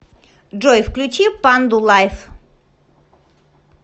джой включи панду лайв